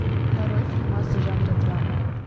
нарой фильмас жанра драма